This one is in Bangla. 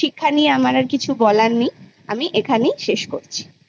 শিক্ষা নিয়ে আমার আর কিছু বলার নেই আমি এখানেই শেষ করছি